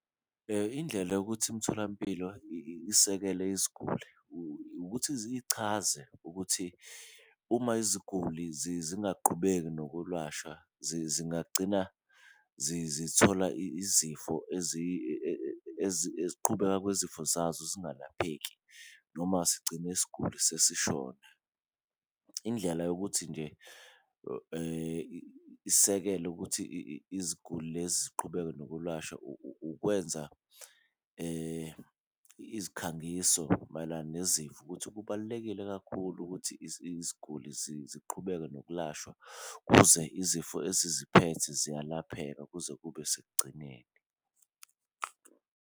Indlela yokuthi imitholampilo isekele iziguli ukuthi ichaze ukuthi uma iziguli zingaqhubeki zingagcina zithola izifo ukuqhubekayo kwezifo zazo ezingalapheki, noma sigcine isiguli sesishona. Indlela yokuthi nje isekele ukuthi iziguli lezi ziqhubeke nokwelashwa, ukwenza izikhangiso mayelana nezifo ukuthi, kubalulekile kakhulu ukuthi iziguli ziqhubeke nokulashwa kuze izifo eziziphethe ziyalapheka kuze kube sekugcineni.